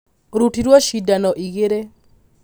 arutirwo cindano igĩrĩ